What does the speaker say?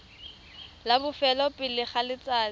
la bofelo pele ga letsatsi